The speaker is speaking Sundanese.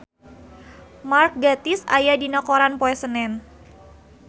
Mark Gatiss aya dina koran poe Senen